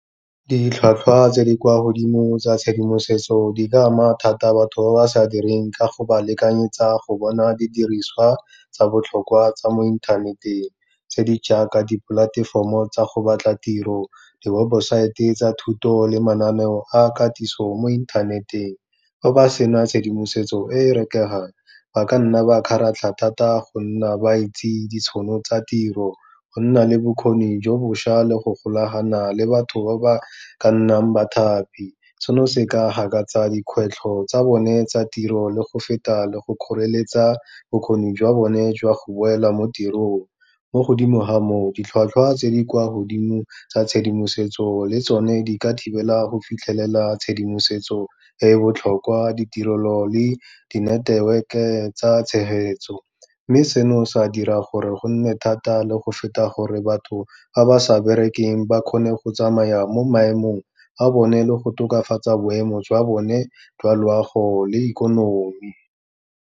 Ditlhwatlhwa tse di kwa godimo tsa tshedimosetso, di ka ama thata batho ba ba sa direng ka go ba lekanyetsa go bona didiriswa tsa botlhokwa tsa mo inthaneteng tse di jaaka dipolatefomo tsa go batla tiro, diwebosaete tsa thuto le mananeo a katiso mo inthaneteng. Fa ba sena tshedimosetso e e rekegang, ba ka nna ba kgaratlha thata go nna ba itse ditšhono tsa tiro, go nna le bokgoni jo bošwa le go golagana le batho ba ba ka nnang bathapi. Seno se ka gakatsa dikgwetlho tsa bone tsa tiro le go feta le go kgoreletsa bokgoni jwa bone jwa go boela mo tirong, mo godimo ga moo ditlhwatlhwa tse di kwa godimo tsa tshedimosetso le tsone di ka thibela go fitlhelela tshedimosetso e e botlhokwa, ditirelo le di network-e tsa tshegetso. Mme seno sa dira gore go nne thata le go feta gore batho ba ba sa berekeng, ba kgone go tsamaya mo maemong a bone le go tokafatsa boemo jwa bone jwa loago le ikonomi.